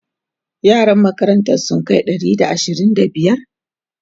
yaran makarantan sun Kai Ɗari da ashirin da biyar?